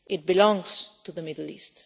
It belongs to the Middle East.